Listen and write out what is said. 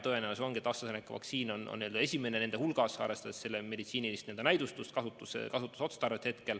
Tõenäoliselt ongi AstraZeneca vaktsiin esimene nende hulgas, arvestades selle meditsiinilist näidustust ja kasutusotstarvet.